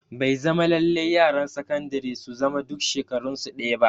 Bai zama lallai yaran sakandire su zama duk shekarun su ɗaya ba